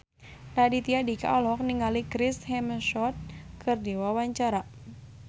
Raditya Dika olohok ningali Chris Hemsworth keur diwawancara